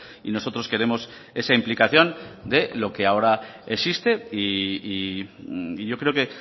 y nosotros queremos esa implicación de lo que ahora existe y yo creo que